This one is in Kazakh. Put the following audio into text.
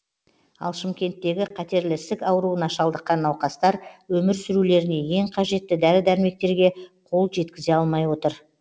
ал шымкенттегі қатерлі ісік ауруына шалдыққан науқастар өмір сүрулеріне ең қажетті дәрі дәрмектерге қол жеткізе алмай отыр